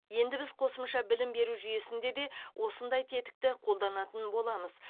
енді біз қосымша білім беру жүйесінде де осындай тетікті қолданатын боламыз